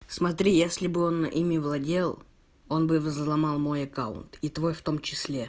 смотри если бы он ими владел он бы взломал мой аккаунт и твой в том числе